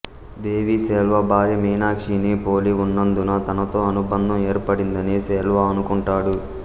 దేవి సెల్వా భార్య మీనాక్షిని పోలి ఉన్నందున తనతో అనుబంధం ఏర్పడిందని సెల్వా అనుకుంటాడు